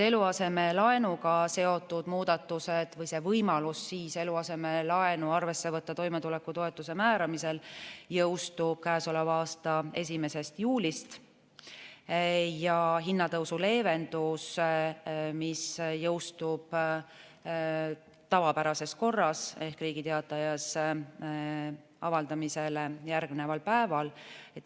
Eluasemelaenuga seotud muudatused või võimalus eluasemelaenu arvesse võtta toimetulekutoetuse määramisel jõustub käesoleva aasta 1. juulist ja hinnatõusu leevendus jõustub tavapärases korras ehk Riigi Teatajas avaldamisele järgneval päeval.